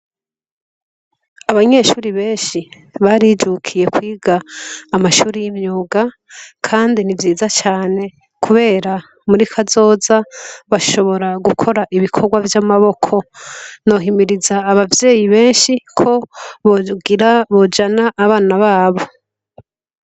Abanyeshure benshii barijukiye kwiga amashure y'imyuga Kandi ni vyiza cane kubera muri kazoza bashobora gukora ibikorwa vy'amaboko ,nohimiriza abavyeyi benshi ko bojana abana babo.